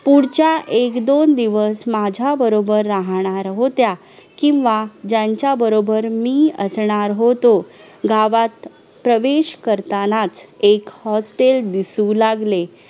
दृश्य शब्दाची व्याख्या , जे घटक वाद्यांच्या दोषा मुळे दृश्य होऊन बिघडतात अशा धातू व मलद्रव्यांना दृश्य म्हणतात . धातू व मल या दृश्यांपैकी सर्वप्रथम शरीरात धारण करणाऱ्या धातूंची माहिती देत आहोत..